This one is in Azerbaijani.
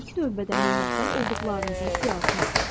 İlk növbədə minnətdar olduqlarınızın siyahısını tutun.